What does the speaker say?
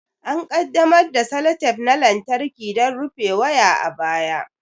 An ƙaddamar da seletep na lantarki don rufe waya a baya.